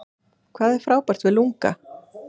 Hvað er frábært við LungA?